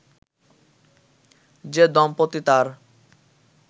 যে দম্পতি তার